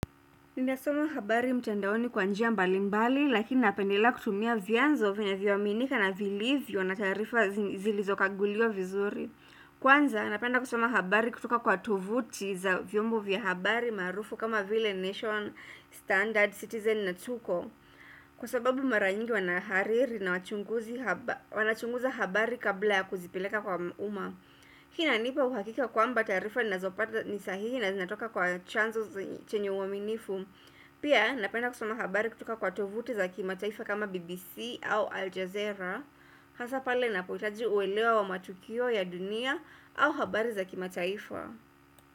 Ninasoma habari mtandaoni kwa njia mbali mbali, lakini napendelea kutumia vyanzo vinavyoaminika na vilivyo na taarifa zilizokaguliwa vizuri. Kwanza, napenda kusoma habari kutoka kwa tuvuti za vyombo vya habari maarufu kama vile Nation, Standard, Citizen na Tuko. Kwa sababu mara nyingi wanahariri na wanachunguza habari kabla ya kuzipileka kwa uma. Kina nipa uhakika kwamba taarifa ninazo pata ni sahihi na zinatoka kwa chanzo chenye uaminifu Pia napenda kusoma habari kutoka kwa tovuti za kimataifa kama BBC au Aljazera Hasa pale napoitaji uelewa wa matukio ya dunia au habari za kimataifa.